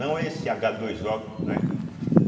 Não é esse agá dois ó, né?